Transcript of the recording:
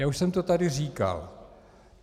Já už jsem to tady říkal.